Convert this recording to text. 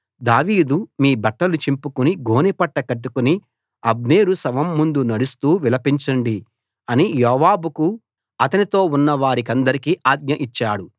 దావీదు మీ బట్టలు చింపుకుని గోనెపట్ట కట్టుకుని అబ్నేరు శవం ముందు నడుస్తూ విలపించండి అని యోవాబుకు అతనితో ఉన్నవారికందరికీ ఆజ్ఞ ఇచ్చాడు